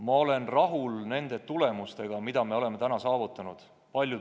Ma olen rahul nende tulemustega, mis me oleme saavutanud.